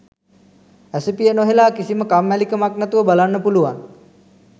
ඇසිපිය නොහෙළා කිසිම කම්මැලි කමක් නැතිව බලන්න පුළුවන්